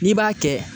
N'i b'a kɛ